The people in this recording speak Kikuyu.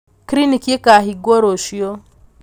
kiriniki ĩkahingwo rũcio